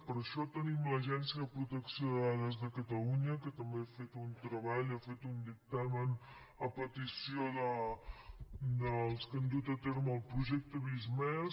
per això tenim l’agència de protecció de dades de catalunya que també ha fet un treball ha fet un dictamen a petició dels que han dut a terme el projecte visc+